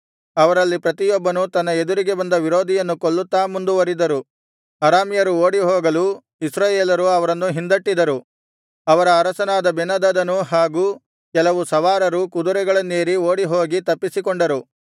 ಅವರಲ್ಲಿ ಪ್ರತಿಯೊಬ್ಬನೂ ತನ್ನ ಎದುರಿಗೆ ಬಂದ ವಿರೋಧಿಯನ್ನು ಕೊಲ್ಲುತ್ತಾ ಮುಂದುವರಿದರು ಅರಾಮ್ಯರು ಓಡಿಹೋಗಲು ಇಸ್ರಾಯೇಲರು ಅವರನ್ನು ಹಿಂದಟ್ಟಿದರು ಅವರ ಅರಸನಾದ ಬೆನ್ಹದದನೂ ಹಾಗು ಕೆಲವು ಸವಾರರೂ ಕುದುರೆಗಳನ್ನೇರಿ ಓಡಿಹೋಗಿ ತಪ್ಪಿಸಿಕೊಂಡರು